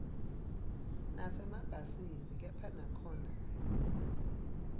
nasemabhasini kepha nakhona